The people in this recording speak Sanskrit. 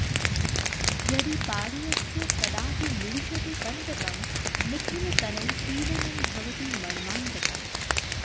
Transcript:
यदि पादेऽस्य कदापि निविशते कण्टकं निखिलतनौ पीडनं भवति मर्मान्तकम्